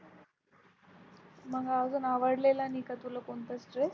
मग अजून आवडलेला नाही का तुला कोणतच Dress?